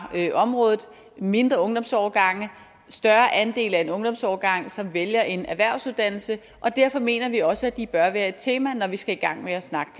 området mindre ungdomsårgange og større andel af en ungdomsårgang som vælger en erhvervsuddannelse og derfor mener vi også at de bør være et tema når vi skal i gang med at snakke